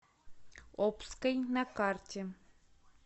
обской на карте